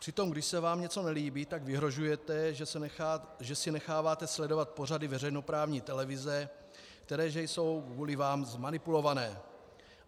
Přitom když se vám něco nelíbí, tak vyhrožujete, že si necháváte sledovat pořady veřejnoprávní televize, které že jsou kvůli vám zmanipulované.